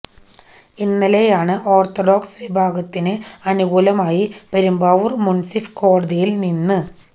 ഇന്നലെയാണ് ഓർത്തഡോക്സ് വിഭാഗത്തിന് അനുകൂലമായി പെരുമ്പാവൂർ മുൻസിഫ് കോടതിയിൽ നിന